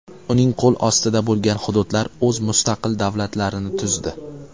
Uning qo‘l ostida bo‘lgan hududlar o‘z mustaqil davlatlarini tuzdi.